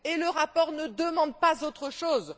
Le rapport ne demande pas autre chose.